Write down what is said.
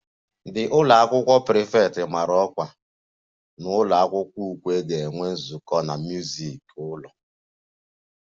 The ụlọ akwụkwọ prefect mara ọkwa na ụlọ akwụkwọ ukwe ga-enwe nzukọ na music ụlọ